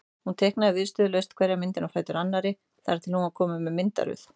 Hún teiknaði viðstöðulaust hverja myndina á fætur annarri þar til hún var komin með myndaröð.